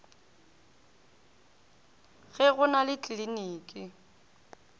ge go na le tliliniki